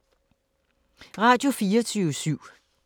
Radio24syv